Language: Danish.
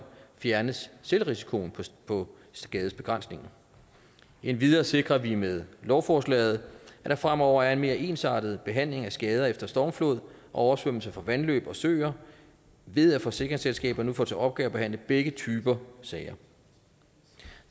fjernes selvrisikoen på skadesbegrænsningen endvidere sikrer vi med lovforslaget at der fremover er en mere ensartet behandling af skader efter stormflod og oversvømmelse fra vandløb og søer ved at forsikringsselskaber nu får til opgave at behandle begge typer sager